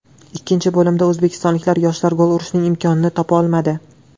Ikkinchi bo‘limda o‘zbekistonlik yoshlar gol urishning imkonini topa olmadi.